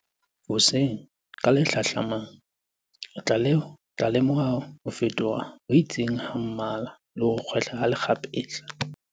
Hoseng ka le hlahlamang, o tla lemoha ho fetoha ho itseng ha mmala, le ho kgwehla ha lekgapetla.